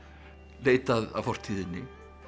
leit að fortíðinni